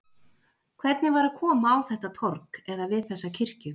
Hvernig var að koma á þetta torg, eða við þessa kirkju?